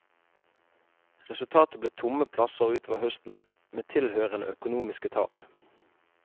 Resultatet ble tomme plasser utover høsten, med tilhørende økonomiske tap.